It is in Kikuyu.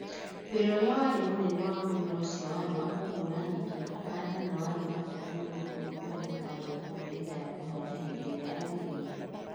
Wi͂ra u͂ri͂a wari͂ mu͂nene wa mu͂mera u͂cio wari͂ wa ku͂hu͂u͂ra nyeki na ku͂handa na wari͂ wa bata mu͂no kundu ku͂ri͂a gu͂taari͂ na bataraitha ya ku͂handa hi͂ndi i͂ri͂a yagi͂ri͂ire.